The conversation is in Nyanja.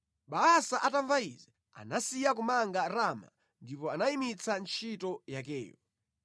Baasa atamva izi, anasiya kumanga Rama ndipo anayimitsa ntchito yakeyo.